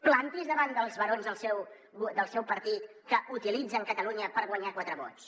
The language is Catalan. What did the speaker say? planti’s davant dels barons del seu del seu partit que utilitzen catalunya per guanyar quatre vots